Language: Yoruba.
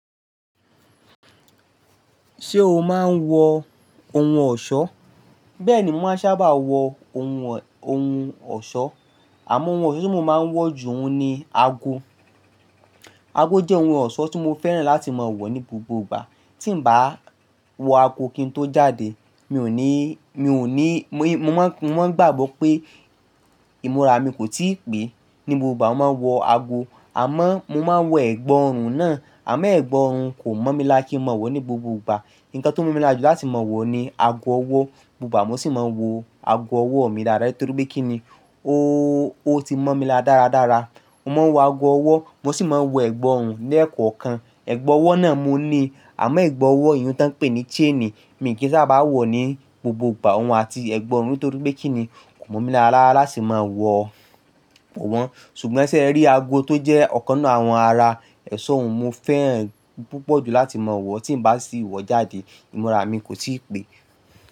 Ṣé o máa ń wọ ohun ọ̀ṣọ́? Bẹ́ẹ̀ni, mo máa sábà wọ ohun ọ̀ṣọ́. Àmọ́ ohun ọ̀ṣọ́ tí mo máa ń wọ jù ó ni ago. Ago jẹ́ ohun ọ̀ṣọ́ tí mo fẹ́ràn láti máa wọ ní gbogbo ìgbà. Tí n bá wọ ago kí n tó jáde, mi ò ní, mi ò ní, mo máa ń gbàgbọ́ pé ìmúra mi kò tíì pé. Ni gbogbo ìgbà mo máa ń wọ ago, àmọ́ mo máa ń wọ ẹ̀gbà ọrùn náà, àmọ́ ẹ̀gbà ọrùn kò mọ̀ mi la kí n máa wọ̀ ọ́ ní gbogbo ìgbà. Nǹkan tó mọ̀ mi la jú láti máa wọ̀ ni ago ọwọ́. Gbogbo ìgbà mo sì máa ń wo ago ọwọ́ mi dáadáa nítorí pé kíni ó ti mọ́ mi lára dáradára. Mo máa ń wọ ago ọwọ́, mo sì máa ń wọ ẹ̀gbà ọrùn lẹ́ẹ̀kọ̀kan. Ẹ̀gbà ọwọ́ náà mo ní, àmọ́ ẹ̀gbà ọwọ́ ìhun tí wọ́n ń pè ní "chain" mi ò kí ń sábà wọ̀ ọ́ ní gbogbo ìgbà, òun àti ẹ̀gbà ọrùn nítorí pé kí ni kò mọ̀ mi lára láti máa wọ̀ wọ́n. Ṣùgbọ́n ṣé ẹ rí ago tó jẹ́ ọ̀kan nínú àwọn ara ẹ̀ṣọ́ hun, mo fẹ́ràn púpọ̀ jù láti máa wọ̀ ọ́. Tí n bá sì wọ̀ ọ́ jáde, ìmúra mi kò tíì pé.